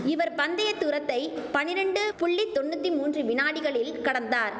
இவர் பந்தைய தூரத்தை பனிரெண்டு புள்ளி தொண்ணூத்தி மூன்று வினாடிகளில் கடந்தார்